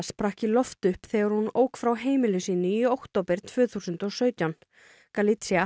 sprakk í loft upp þegar hún ók frá heimili sínu í október tvö þúsund og sautján